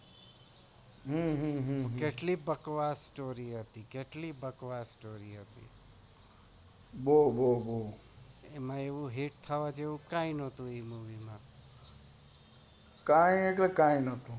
હમ્મ કેટલી બકવાસ story હતી એમાં એવું hit થવા જેવું કૈજ નાઈ હતું